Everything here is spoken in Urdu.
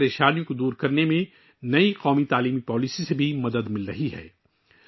نئی قومی تعلیمی پالیسی بھی ایسی مشکلات کو ختم کرنے میں مدد دے رہی ہے